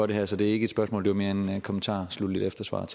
det her så det er ikke et spørgsmål det er mere en kommentar efter svaret